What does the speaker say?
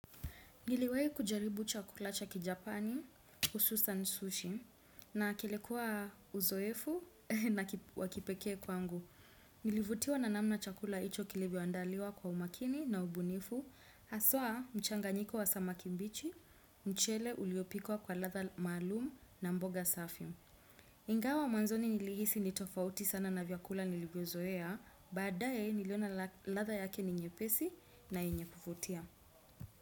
Niliwai kujaribu chakula chakijapani, hususan sushi, na kilikua uzoefu na wakipeke kwangu. Nilivutiwa na namna chakula hicho kilivyoandaliwa kwa umakini na ubunifu, haswa mchanganyiko wa samaki mbichi, mchele uliopikwa kwa ladha maalum na mboga safi. Ingawa mwanzoni nilihisi nitofauti sana na vyakula nilivyozoea, baadaye niliona ladha yake ni nyepesi na yenye kuvutia.